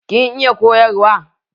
Kin iya koyarwa?